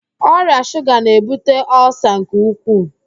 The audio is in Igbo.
Ọrịa shuga na-ebute ọlsa nke ụkwụ